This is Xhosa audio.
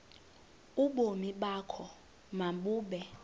ubomi bakho mabube